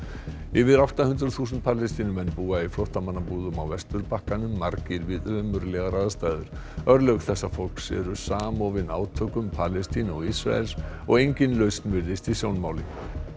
yfir átta hundruð þúsund Palestínumenn búa í flóttamannabúðum á Vesturbakkanum margir við ömurlegar aðstæður örlög þessa fólks eru samofin átökum Palestínu og Ísraels og engin lausn virðist í sjónmáli